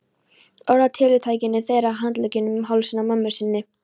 Orðatiltækjunum þeirra, handleggjunum um hálsinn á mömmu sinni.